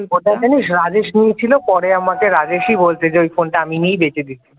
ওটা জানিস রাজেশ নিয়েছিল পরে আমাকে রাজেশই বলছে ওই ফোনটা আমি নিয়ে বেচে দিয়েছি।